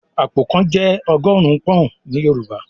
"Àpò kan" Jẹ́ ọgọ́rùn-ún pọ́n-ọ̀n ní Yorùbá